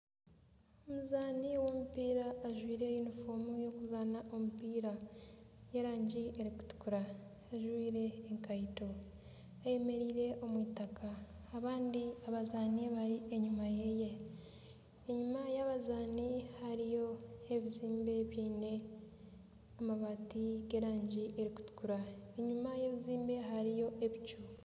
Omuzaani w'omupiira ajwaire yunifoomu y'okuzaana omupiira y'erangi erikutukura. Ajwaire ekaito ayemereire omu 'eitaka. Abandi abazaani bari enyima ye. Enyima y'abazaani hariyo ebizimbe biine amabaati g'erangi erikutukura. Enyima y'ebizimbe hariyo ebicu.